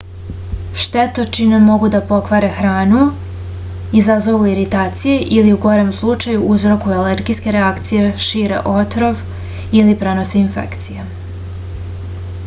štetočine mogu da pokvare hranu izazovu iritacije ili u gorem slučaju uzrokuju alergijske reakcije šire otrov ili prenose infekcije